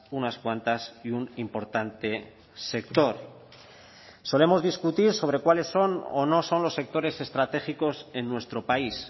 unas cuantas y un importante sector solemos discutir sobre cuáles son o no son los sectores estratégicos en nuestro país